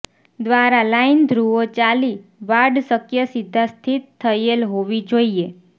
દ્વારા લાઇન ધ્રુવો ચાલી વાડ શક્ય સીધા સ્થિત થયેલ હોવી જોઈએ